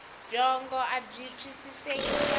byongo abyi twisiseki kahle